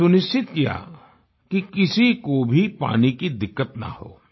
यह सुनिश्चित किया कि किसी को भी पानी की दिक्कत न हो